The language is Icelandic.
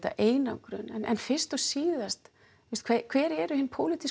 einangrun en fyrst og síðast hver eru hin